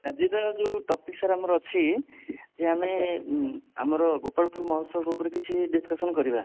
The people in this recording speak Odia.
ଆଜିର ଯୋଉ topic sir ଆମର ଅଛି ଯେ ଆମେ ଉଁ ଆମର ଗୋପାଳପୁର ମହୋତ୍ସବ ଉପରେ କିଛି discussion କରିବା